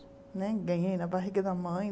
Né ganhei na barriga da mãe.